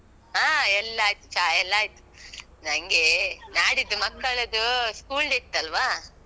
ಹ, ಎಲ್ಲ ಆಯ್ತು. ಚಾಯೆಲ್ಲಾ ಆಯ್ತು. ನಂಗೆ ನಾಡಿದ್ದು ಮಕ್ಕಳದು school day ಇತ್ತಲ್ವ?